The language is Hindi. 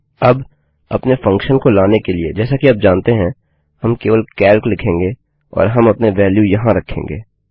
अब अपने फंक्शन को लाने के लिए जैसा कि आप जानते हैं हम केवल कैल्क लिखेंगे और हम अपने वेल्यू यहाँ रखेंगे